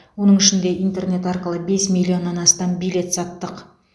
оның ішінде интернет арқылы бес миллионнан астам билет саттық